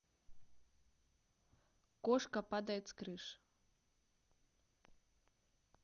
кошка падает с крыши